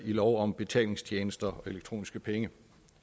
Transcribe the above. i lov om betalingstjenester og elektroniske penge